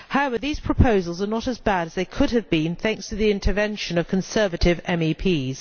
However, these proposals are not as bad as they could have been, thanks to the intervention of Conservative MEPs.